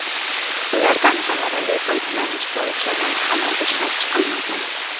Ulardan samarali foydalanish bo‘yicha loyihalar ishlab chiqilmagan.